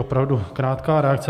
Opravdu krátká reakce.